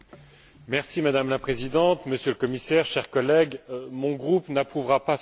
Madame la Présidente, Monsieur le Commissaire, chers collègues, mon groupe n'approuvera pas ce texte.